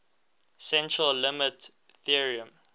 central limit theorem